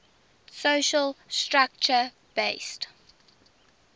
social structure based